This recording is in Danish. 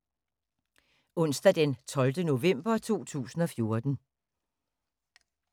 Onsdag d. 12. november 2014